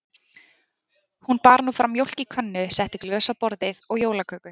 Hún bar nú fram mjólk í könnu, setti glös á borðið og jólaköku.